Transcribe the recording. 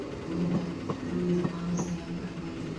бұл енді біреулер аңыздай аңыратып айтатын